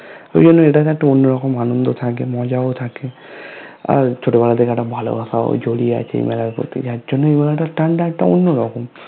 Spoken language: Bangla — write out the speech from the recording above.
ঐজন্য এটাতে একটা অন্য রকমের আনন্দ থাকে মজাও থাকে আর ছোটবেলার থেকে একটা ভালোবাসাও জড়িয়ে আছে এইমেলার প্রতি যার জন্যই মেলাটার টান টা একটা অন্যরকম